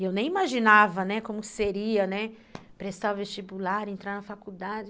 E eu nem imaginava, né, como seria, né, prestar vestibular, entrar na faculdade.